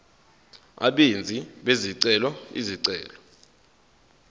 abenzi bezicelo izicelo